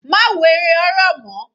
Má wo eré horror mọ́.